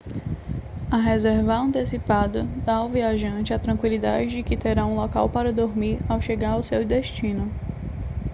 a reservar antecipada dá ao viajante a tranquilidade de que terá um local para dormir ao chegar ao seu destino